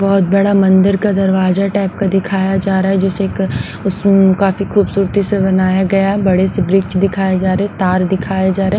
बहुत बड़ा मंदिर का दरवाजा टाइप का दिखाया जा रहा है जिसे उस काफी खूबसूरती से बनाया गया बड़े से वृक्ष दिखाए जा रहे हैं तार दिखाए जा रहे हैं।